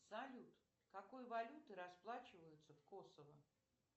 салют какой валютой расплачиваются в косово